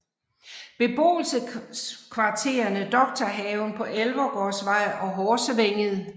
Beboelseskvarterene Doktorhaven på Elvergårdsvej og Horsevænget